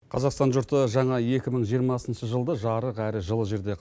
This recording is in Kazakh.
қазақстан жұрты жаңа екі мың жиырмасыншы жылды жарық әрі жылы жерде